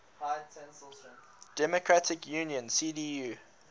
democratic union cdu